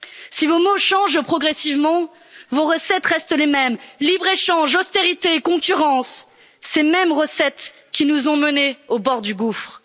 Si vos mots changent progressivement, vos recettes restent les mêmes libre échange, austérité et concurrence, ces mêmes recettes qui nous ont menés au bord du gouffre.